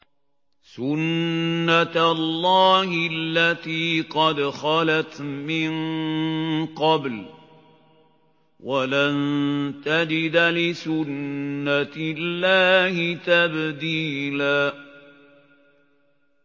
سُنَّةَ اللَّهِ الَّتِي قَدْ خَلَتْ مِن قَبْلُ ۖ وَلَن تَجِدَ لِسُنَّةِ اللَّهِ تَبْدِيلًا